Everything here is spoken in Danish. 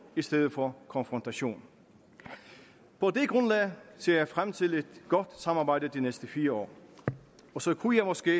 i stedet for konfrontation på det grundlag ser jeg frem til et godt samarbejde de næste fire år så kunne jeg måske